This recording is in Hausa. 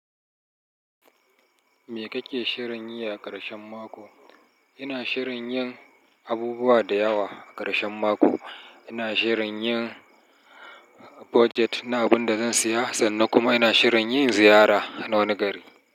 Me kake shirin yi a ƙarshen mako? Ina shirin yin abubuwa da yawa a ƙarshen mako. Ina shirin yin budjet na abin da zan siya sannan kuma ina shirin yin ziyara na wani gari.